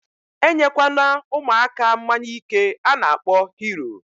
Enye kwana umuaka mmanya ike ana akpo Hero